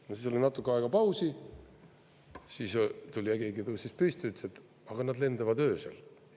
No siis oli natuke aega pausi, siis tuli keegi ja tõusis püsti, ütles, et: aga nad lendavad öösel.